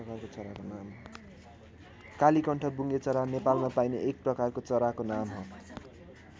कालीकण्ठ बुङ्गेचरा नेपालमा पाइने एक प्रकारको चराको नाम हो।